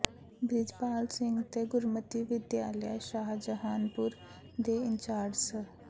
ਬ੍ਰਿਜਪਾਲ ਸਿੰਘ ਤੇ ਗੁਰਮਤਿ ਵਿਦਿਆਲਾ ਸ਼ਾਹਜਹਾਨਪੁਰ ਦੇ ਇੰਚਾਰਜ ਸ